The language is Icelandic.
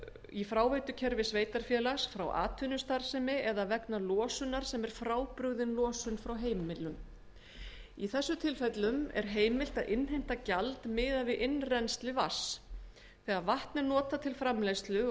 í fráveitukerfi sveitarfélags frá atvinnustarfsemi eða vegna losunar sem er frábrugðin losun frá heimilum í þessum tilfellum er heimilt að innheimta gjald miðað við innrennsli vatns þegar vatn er notað til framleiðslu og